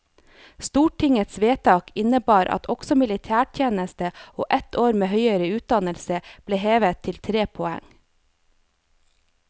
Stortingets vedtak innebar at også militærtjeneste og ett år med høyere utdannelse ble hevet til tre poeng.